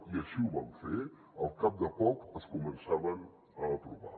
i així ho vam fer al cap de poc es començaven a aprovar